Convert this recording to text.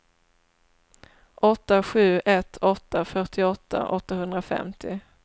åtta sju ett åtta fyrtioåtta åttahundrafemtio